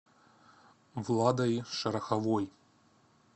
владой шороховой